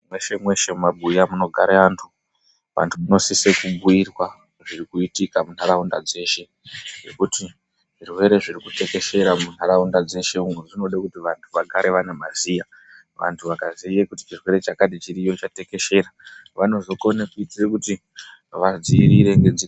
Mweshe-mweshe mumabuya munogare antu, antu anosise kubhuyirwa zvirikuitika muntaraunda dzeshe, ngekuti zvirwere zvirikutekeshera muntaraunda dzeshe umo, zvinode kuti vantu vagare vanamaziya. Vantu vakaziya kuti chirwere chakati chiriyo, chatekeshera, vanozokone kuite kuti vadziirire.